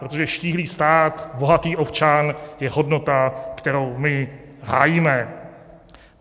Protože štíhlý stát, bohatý občan je hodnota, kterou my hájíme.